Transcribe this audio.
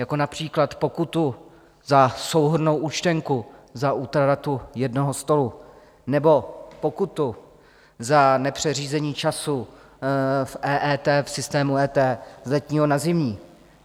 Jako například pokutu za souhrnnou účtenku za útratu jednoho stolu nebo pokutu za nepřeřízení času v EET, v systému EET, z letního na zimní.